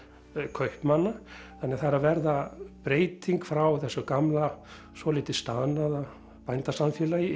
kaupmanna þannig að það er að verða breyting frá þessu gamla svolítið staðnaða bændasamfélagi